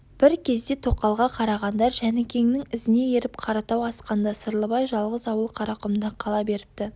бір кезде тоқалға қарағандар жәнікеңнің ізіне еріп қаратау асқанда сырлыбай жалғыз ауыл қарақұмда қала беріпті